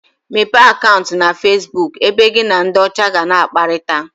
Mepee Akantu na Facebook ebe gị na ndị ọcha ga na akparita